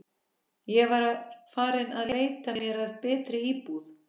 Ég var farin að leita mér að betri íbúð.